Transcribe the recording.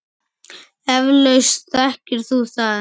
Eflaust þekkir þú það.